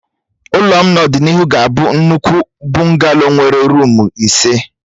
Ụlọ m n'ọdịnihu ga-abụ nnukwu bụngalo nwere ruumu ise